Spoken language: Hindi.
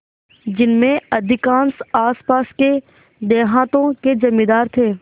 जिनमें अधिकांश आसपास के देहातों के जमींदार थे